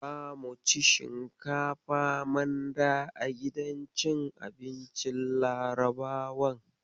Zamu ci shinkafa manda a gidan cin abincin Larabawan.